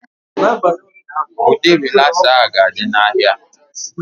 Ụdị rịlasa a ga-adị n'ahịa